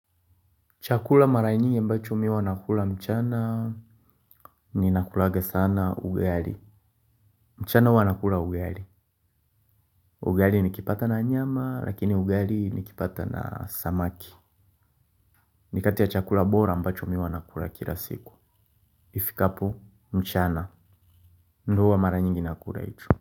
Chakula mara nyingi ambacho mimi huwa nakula mchana ninakulanga sana ugali. Mchana huwa nakula ugali. Ugali nikipata na nyama lakini ugali nikipata na samaki. Ni kati ya chakula bora ambacho mimi huwa nakula kila siku. Ifikapo mchana. Ndo hua mara nyingi nakula hicho.